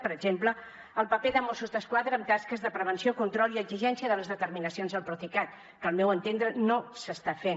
per exemple el paper de mossos d’esquadra en tasques de prevenció control i exigència de les determinacions del procicat que al meu entendre no s’estan fent